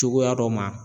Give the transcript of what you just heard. Cogoya dɔ ma